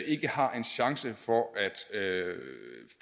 ikke har en chance for at